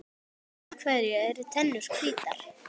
Af hverju eru tennur hvítar?